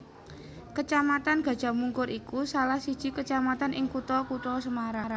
Kacamatan Gajahmungkur iku salah siji kacamatan ing kutha Kutha Semarang